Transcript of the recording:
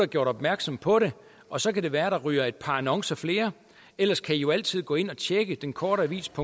gjort opmærksom på det og så kan det være at der ryger et par annoncer flere ellers kan i jo altid gå ind og tjekke denkorteavisdk